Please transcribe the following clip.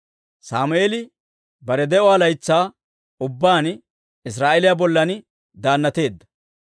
Sammeeli bare de'uwaa laytsaa ubbaan Israa'eeliyaa bollan daannateedda.